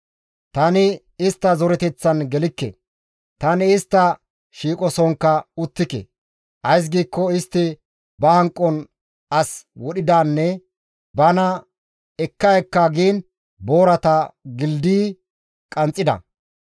Tani istta zoreteththan gelikke; tani istta shiiqosonkka uttike. Ays giikko istti ba hanqon as wodhidanne bana ekka ekka giin boorata gildayi qanxxida.